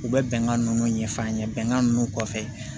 U bɛ bɛnkan ninnu ɲɛf'an ɲɛna bɛnkan ninnu kɔfɛ